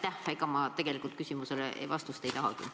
Ega ma tegelikult sellele vastust ei tahagi.